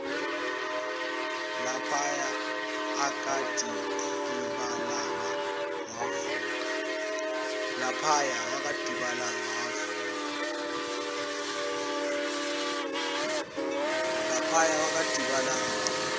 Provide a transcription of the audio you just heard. laphaya akadikibalanga wavuka